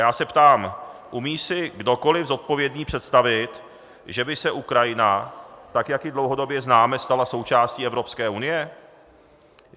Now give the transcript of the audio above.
Já se ptám: Umí si kdokoliv zodpovědný představit, že by se Ukrajina, tak jak ji dlouhodobě známe, stala součástí Evropské unie?